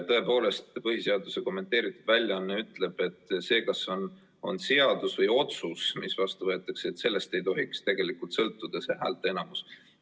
Tõepoolest, põhiseaduse kommenteeritud väljaanne ütleb, et sellest, kas see on seadus või otsus, mis vastu võetakse, ei tohiks tegelikult sõltuda häälteenamus.